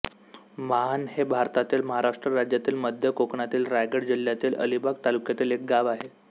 माहण हे भारतातील महाराष्ट्र राज्यातील मध्य कोकणातील रायगड जिल्ह्यातील अलिबाग तालुक्यातील एक गाव आहे